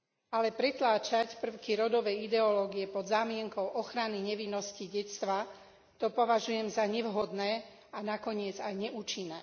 Ale pretláčať prvky rodovej ideológie pod zámienkou ochrany nevinnosti detstva, to považujem za nevhodné a nakoniec aj neúčinné.